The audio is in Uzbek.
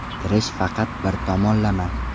Kirish faqat bir tomonlama.